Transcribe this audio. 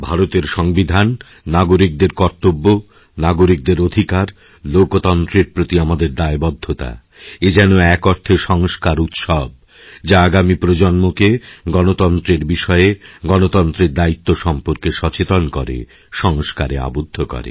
ভারতের সংবিধান নাগরিকদের কর্তব্য নাগরিকদের অধিকারলোকতন্ত্রের প্রতি আমাদের দায়বদ্ধতা এ যেন এক অর্থে সংস্কার উৎসব যা আগামী প্রজন্মকেগণতন্ত্রের বিষয়ে গণতন্ত্রের দায়িত্ব সম্পর্কে সচেতন করে সংস্কারে আবদ্ধ করে